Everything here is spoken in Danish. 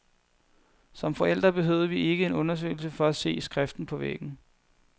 Som forældre behøvede vi ikke en undersøgelse for at se skriften på væggen.